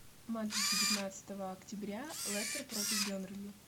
матч девятнадцатого октября лестер против бернли